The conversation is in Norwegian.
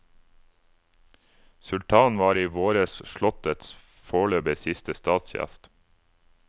Sultanen var i våres slottets foreløpig siste statsgjest.